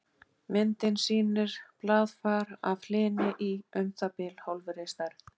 Myndin sýnir blaðfar af hlyni í um það bil hálfri stærð.